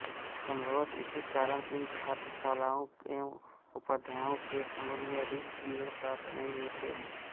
सम्भवत इसी कारण इन छात्राशालाओं एवं उपाध्यायाओं के सम्बन्ध में अधिक विवरण प्राप्त नहीं होते